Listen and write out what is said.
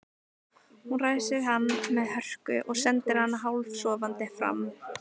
Hún ræsir hann með hörku og sendir hann hálfsofandi fram.